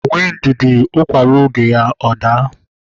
Nwee ndidi na ukwa ruo oge ya na ọ ga-ada